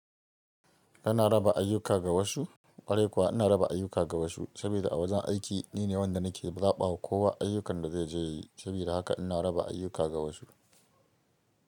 Ina raba ayuka ga wasu. Kwarai kuwa ina raba ayuka ga wasu saboda a wajen aiki nine wanda nake zaɓawa kowa ayyukan da zai je yi. Saboda haka ina raba ayuka ga wasu.